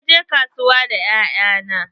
Na je kasuwa da 'ya'ya na.